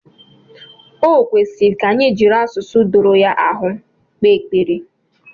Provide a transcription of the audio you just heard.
Ọ kwesịrị ka anyị jiri asụsụ doro ya ahụ kpee ekpere